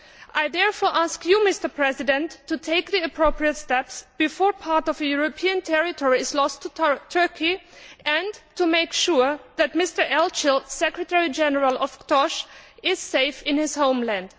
I therefore ask you, Mr President, to take the appropriate steps before part of a European territory is lost to Turkey, and to make sure that Mr Elcil, Secretary General of KTOS, is safe in his homeland.